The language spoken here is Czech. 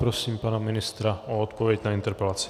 Prosím pana ministra o odpověď na interpelaci.